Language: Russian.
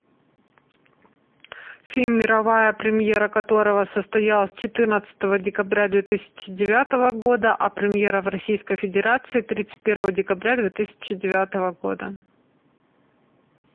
фильм мировая премьера которого состоялась четырнадцатого декабря две тысячи девятого года а премьера в российской федерации тридцать первого декабря две тысячи девятого года